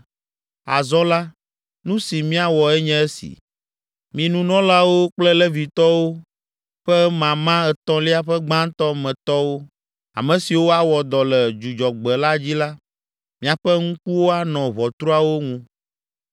Azɔ la, nu si míawɔ enye si. Mi nunɔlawo kple Levitɔwo ƒe mama etɔ̃lia ƒe gbãtɔ me tɔwo, ame siwo awɔ dɔ le Dzudzɔgbe la dzi la, miaƒe ŋkuwo anɔ ʋɔtruawo ŋu,